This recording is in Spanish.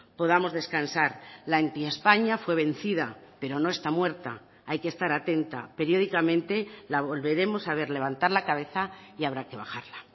podamos descansar la anti españa fue vencida pero no está muerta hay que estar atenta periódicamente la volveremos a ver levantar la cabeza y habrá que bajarla